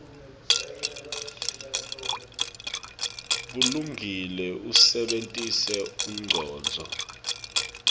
bulungile usebentise umcondvo